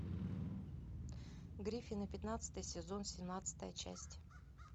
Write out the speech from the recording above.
гриффины пятнадцатый сезон семнадцатая часть